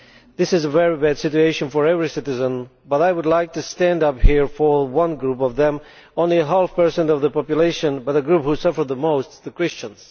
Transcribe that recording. This is a very bad situation for every citizen, but I would like to stand up for one group of them, who are only half a per cent of the population but a group who suffers the most the Christians.